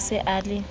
ka ha e sa le